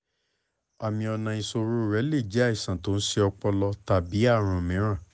àmì ọ̀nà ìsọ̀rọ̀ rẹ lè jẹ́ àìsàn tó ń ṣe ọpọlọ tàbí àrùn mìíràn